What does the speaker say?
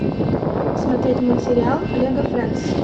смотреть мультсериал лего френдс